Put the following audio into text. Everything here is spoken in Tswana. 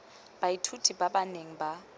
baithuti ba ba neng ba